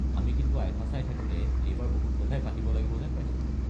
আমি কিন্তু আইফা চাই থাকোঁতে এইবাৰ বহুত কথাই পাতিব লাগিব যেন পাইছো।